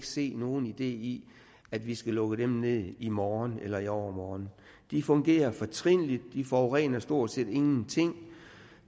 se nogen idé i at vi skal lukke dem ned i morgen eller i overmorgen de fungerer fortrinligt de forurener stort set ingenting